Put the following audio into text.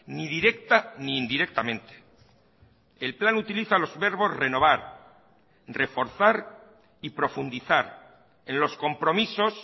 ni directa ni indirectamente el plan utiliza los verbos renovar reforzar y profundizar en los compromisos